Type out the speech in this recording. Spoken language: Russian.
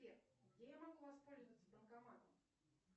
сбер где я могу воспользоваться банкоматом